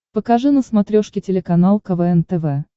покажи на смотрешке телеканал квн тв